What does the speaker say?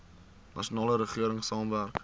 nasionale regering saamwerk